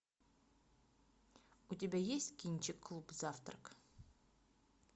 у тебя есть кинчик клуб завтрак